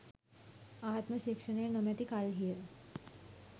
ආත්ම ශික්‍ෂණය නොමැති කල්හිය.